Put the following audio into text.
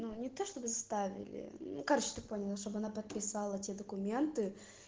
не то чтобы заставили короче ты понял особенно подписала тебе документы